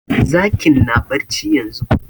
Zakin na barci yanzun